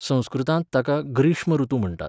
संस्कृतांत ताका ग्रीष्म ऋतू म्हण्टात.